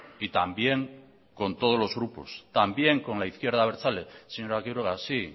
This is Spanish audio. y también con todos los grupos también con la izquierda abertzale señora quiroga sí